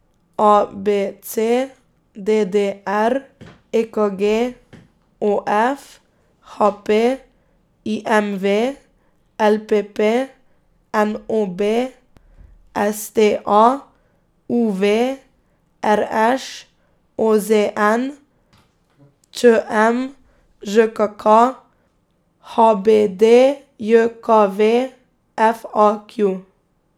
A B C; D D R; E K G; O F; H P; I M V; L P P; N O B; S T A; U V; R Š; O Z N; Č M; Ž K K; H B D J K V; F A Q.